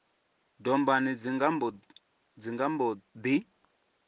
dombani dzi nga mbo ḓi